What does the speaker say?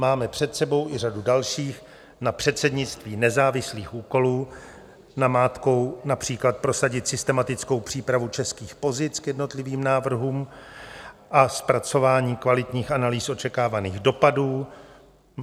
Máme před sebou i řadu dalších, na předsednictví nezávislých úkolů, namátkou například prosadit systematickou přípravu českých pozic k jednotlivým návrhům a zpracování kvalitních analýz očekávaných dopadů.